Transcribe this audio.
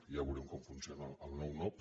ja veurem com funciona el nou nop